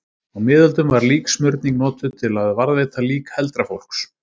Á miðöldum var líksmurning notuð til að varðveita lík heldra fólks.